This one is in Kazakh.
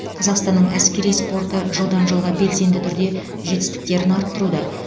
қазақстанның әскери спорты жылдан жылға белсенді түрде жетістіктерін арттыруда